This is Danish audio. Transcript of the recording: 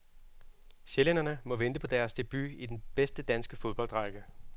Sjællænderne må vente på deres debut i den bedste danske fodboldrække.